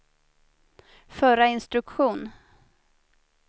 förra instruktion